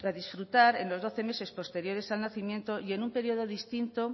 disfrutar en los doce meses posteriores al nacimiento y en un periodo distinto